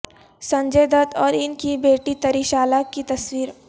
سنجے دت اور ان کی بیٹی تریشالہ کی تصویر